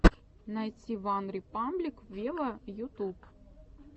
найти ван репаблик вево ютуб